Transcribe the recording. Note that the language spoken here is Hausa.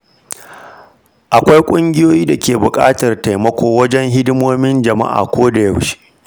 Akwai ƙungiyoyi da ke buƙatar taimako wajen hidimomin jama’a koda yaushe